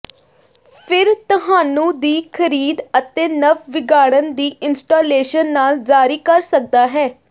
ਫਿਰ ਤੁਹਾਨੂੰ ਦੀ ਖਰੀਦ ਅਤੇ ਨਵ ਵਿਗਾੜਨ ਦੀ ਇੰਸਟਾਲੇਸ਼ਨ ਨਾਲ ਜਾਰੀ ਕਰ ਸਕਦਾ ਹੈ